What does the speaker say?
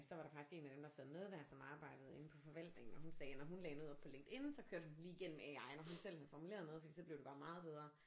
Så var der faktisk en af dem der sad med der som arbejdede inde på forvaltningen og hun sagde når hun lagde noget op på LinkedIn så kørte hun den lige igennem AI når hun selv havde formuleret noget fordi så blev det bare meget bedre